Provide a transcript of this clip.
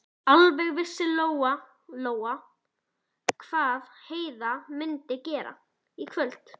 Alveg vissi Lóa-Lóa hvað Heiða mundi gera í kvöld.